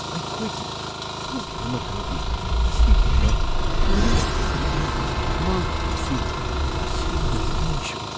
ꯑꯩꯈꯣꯏꯒꯤ ꯍꯧꯈꯤꯕ ꯃꯇꯝꯒꯤ ꯑꯁꯤꯒꯨꯝꯕ ꯃꯔꯨꯑꯣꯏꯕ ꯁꯔꯨꯛ ꯑꯃ ꯃꯥꯡꯈꯤꯕ ꯑꯁꯤ ꯇꯁꯦꯡꯅ ꯊꯝꯃꯣꯏ ꯁꯣꯛꯏ꯫